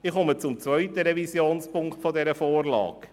Ich komme zum zweiten Revisionspunkt dieser Vorlage.